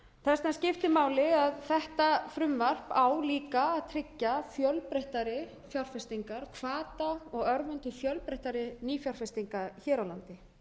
það sem skiptir máli er að þetta frumvarp á líka að tryggja fjölbreyttari fjárfestingar hvaða og örvun til fjölbreyttari nýfjárfestinga hér á landi